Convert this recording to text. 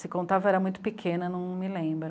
Se contava eu era muito pequena, não me lembro.